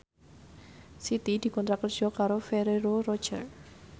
Siti dikontrak kerja karo Ferrero Rocher